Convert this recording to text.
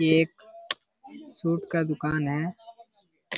ये एक सूट का दुकान है।